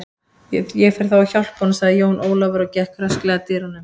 Ég fer þá að hjálpa honum, sagði Jón Ólafur og gekk rösklega að dyrunum.